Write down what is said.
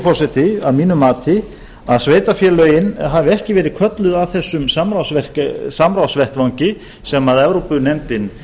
forseti að mínu mati að sveitarfélögin hafi ekki verið kölluð að þessum samráðsvettvangi sem evrópunefndin